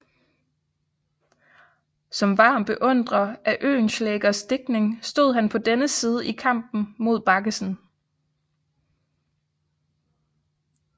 Som varm beundrer af Oehlenschlägers digtning stod han på dennes side i kampen mod Baggesen